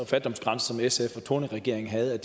fattigdomsgrænse som sf og thorningregeringen havde